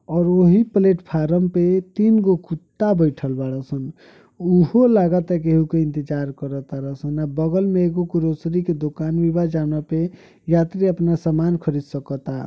ओर वही platform पे तीन गो कुत्ता बैठल बाड़न स उहो लगता केहू के इंतेजर कर ताड़न सन आ बगल मे एगो ग्रोसरी की दुकान भी बा जोना पे यात्री आपण समान खरीद सकता।